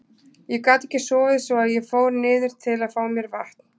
Ég gat ekki sofið svo að ég fór niður til að fá mér vatn.